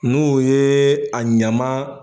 N'o ye a ɲama